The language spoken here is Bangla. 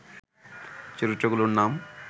চরিত্রগুলোর নাম